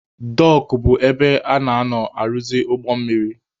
Dọọkụ bụ ebe a na-anọ arụzị ụgbọ mmiri.